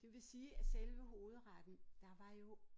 Det vil sige at selve hovedretten der var jo